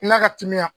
La katimina